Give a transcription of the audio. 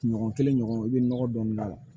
Ɲɔgɔn kelen ɲɔgɔn i bɛ nɔgɔ dɔɔni k'a la